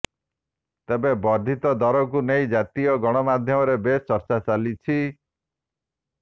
ତେବେ ବର୍ଧିତ ଦରକୁ ନେଇ ଜାତୀୟ ଗଣମାଧ୍ୟମରେ ବେଶ ଚର୍ଚ୍ଚା ଚାଲିଛି